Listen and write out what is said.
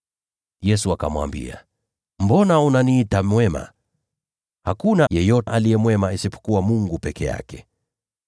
Yesu akamwambia, “Mbona unaniita mwema? Hakuna yeyote aliye mwema ila Mungu peke yake.